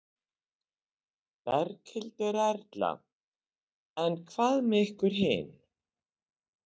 Berghildur Erla: En hvað með ykkur hin?